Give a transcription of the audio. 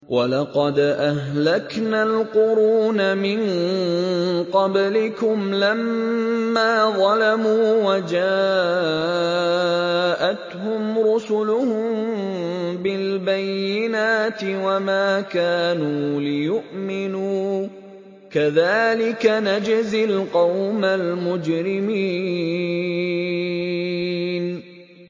وَلَقَدْ أَهْلَكْنَا الْقُرُونَ مِن قَبْلِكُمْ لَمَّا ظَلَمُوا ۙ وَجَاءَتْهُمْ رُسُلُهُم بِالْبَيِّنَاتِ وَمَا كَانُوا لِيُؤْمِنُوا ۚ كَذَٰلِكَ نَجْزِي الْقَوْمَ الْمُجْرِمِينَ